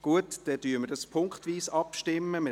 – Gut, dann stimmen wir punktweise ab.